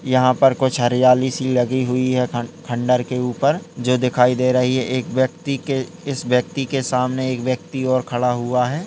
यहाँ पर कुछ हरियाली सी लगी हुई है खंड खंडर के उपर जो दिखाई दे रही है| एक व्यक्ति के इस व्यक्ति के सामने एक व्यक्ति और खड़ा हुआ है।